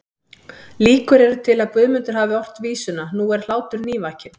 Líkur eru til að Guðmundur hafi ort vísuna Nú er hlátur nývakinn